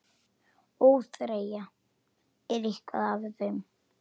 ÓÞREYJA er eitt af þeim.